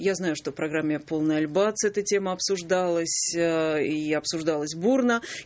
я знаю что программе полный альбац эта тема обсуждалась и аа обсуждалась бурно